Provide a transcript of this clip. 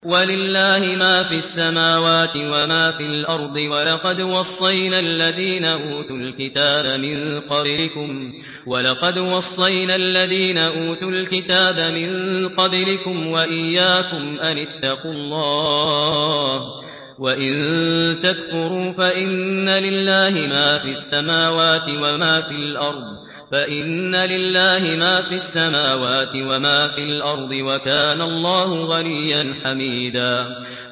وَلِلَّهِ مَا فِي السَّمَاوَاتِ وَمَا فِي الْأَرْضِ ۗ وَلَقَدْ وَصَّيْنَا الَّذِينَ أُوتُوا الْكِتَابَ مِن قَبْلِكُمْ وَإِيَّاكُمْ أَنِ اتَّقُوا اللَّهَ ۚ وَإِن تَكْفُرُوا فَإِنَّ لِلَّهِ مَا فِي السَّمَاوَاتِ وَمَا فِي الْأَرْضِ ۚ وَكَانَ اللَّهُ غَنِيًّا حَمِيدًا